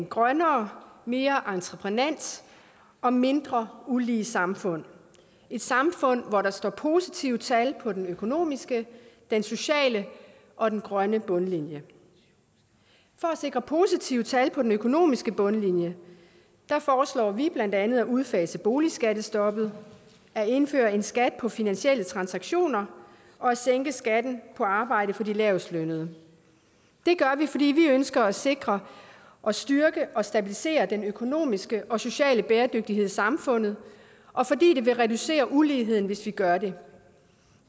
grønnere mere entreprenant og mindre ulige samfund et samfund hvor der står positive tal på den økonomiske den sociale og den grønne bundlinje for at sikre positive tal på den økonomiske bundlinje foreslår vi blandt andet at udfase boligskattestoppet at indføre en skat på finansielle transaktioner og at sænke skatten på arbejde for de lavestlønnede det gør vi fordi vi ønsker at sikre og styrke og stabilisere den økonomiske og sociale bæredygtighed i samfundet og fordi det vil reducere uligheden hvis vi gør det